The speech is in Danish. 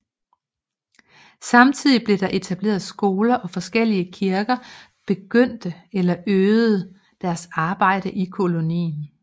Samtidig blev der etableret skoler og forskellige kirker begyndte eller øgede deres arbejde i kolonien